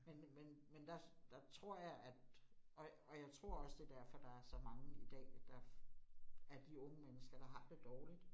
Men men men der der tror jeg, at og og jeg tror også det derfor der er så mange i dag, at der af de unge mennesker, der har det dårligt